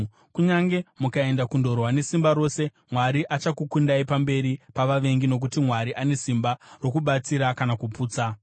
Kunyange mukaenda kundorwa nesimba rose, Mwari achakukundai pamberi pavavengi nokuti Mwari ane simba rokubatsira kana kuputsa.”